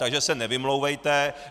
Takže se nevymlouvejte.